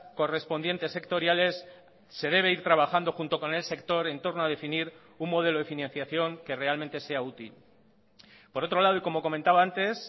correspondientes sectoriales se debe ir trabajando junto con el sector entorno a definir un modelo de financiación que realmente sea útil por otro lado y como comentaba antes